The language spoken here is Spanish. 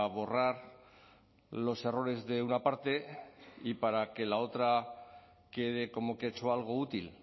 borrar los errores de una parte y para que la otra quede como que ha hecho algo útil